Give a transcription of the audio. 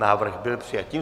Návrh byl přijat.